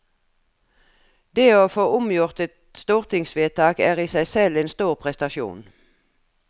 Det å få omgjort et stortingsvedtak er i seg selv en stor prestasjon.